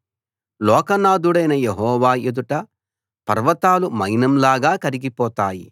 లోకనాథుడైన Jehovah ఎదుట పర్వతాలు మైనంలాగా కరిగిపోతాయి